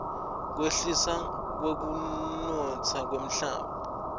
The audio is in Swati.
kwehliswa kwekunotsa kwemhlaba